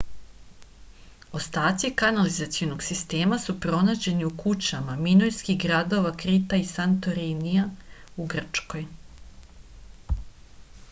ostaci kanalizacijskog sistema su pronađeni u kućama minojskih gradova krita i santorinija u grčkoj